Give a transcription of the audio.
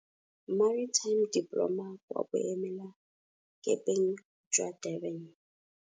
Maritime Diploma kwa Boemelakepeng jwa Durban.